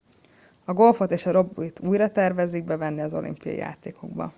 a golfot és a rögbit újra tervezik bevenni az olimpiai játékokba